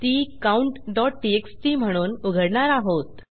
ती countटीएक्सटी म्हणून उघडणार आहोत